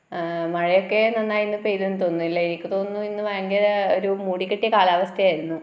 ആ മഴയൊക്കെ നന്നായി പെയ്തെന്നു തോന്നുന്നല്ലേ എനിക്ക് തോന്നുന്നു ഇന്ന് ഭയങ്കര ഒരു മൂടിക്കെട്ടിയ കാലാവസ്ഥ ആയിരുന്നു